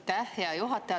Aitäh, hea juhataja!